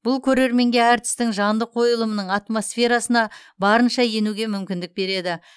бұл көрерменге әртістің жанды қойылымының атмосферасына барынша енуге мүмкіндік береді